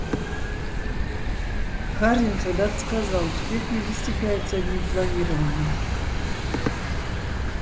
хардин когда-то сказал успех не достигается одним планированием